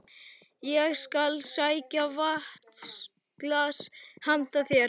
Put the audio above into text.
Ég skal sækja vatnsglas handa þér